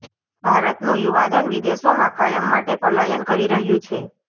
ભારતનું યુવા ધન વિદેશોમાં કાયમ માટે પલાયન કરી રહ્યું છે